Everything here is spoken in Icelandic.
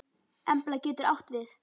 Embla getur átt við